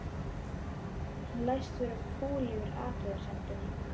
Hann læst vera fúll yfir athugasemdinni.